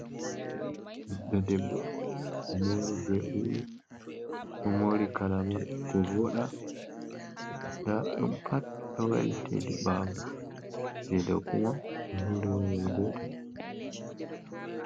Ɓiɗɗo debbo omori ɓe wuli omori kalaba ko voda, nda ɗum pat ɗo wati hedi ɓawo, je dow kuma o horinowol gotel.